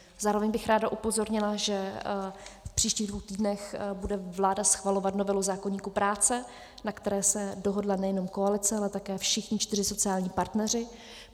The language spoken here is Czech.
Zároveň bych ráda upozornila, že v příštích dvou týdnech bude vláda schvalovat novelu zákoníku práce, na které se dohodla nejenom koalice, ale také všichni čtyři sociální partneři.